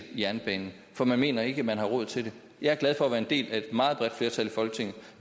jernbanen for man mener ikke man har råd til det jeg er glad for at være en del af et meget bredt flertal i folketinget